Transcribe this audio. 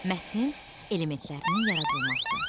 Mətnin elementlərinin yaradılması.